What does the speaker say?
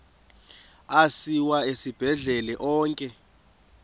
asiwa esibhedlele onke